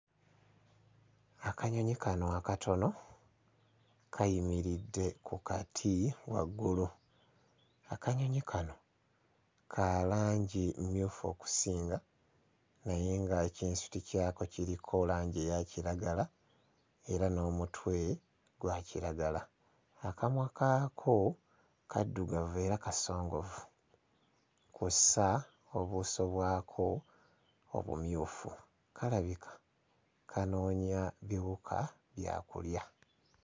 Akanyonyi kano akatono kayimiridde ku kati waggulu, akanyonyi kano ka langi mmyufu okusinga naye nga ekinsuti kyako kiriko langi eya kiragala era n'omutwe gwa kiragala, akamwa kaako kaddugavu era kasongovu kw'ossa obuuso bwako obumyufu, kalabika kanoonya biwuka bya kulya.